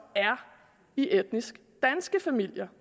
er i etnisk danske familier